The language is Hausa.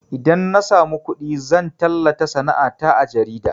Idan na samu kuɗi zan tallata sana'a ta a jarida